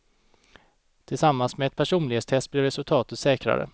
Tillsammans med ett personlighetstest blev resultatet säkrare.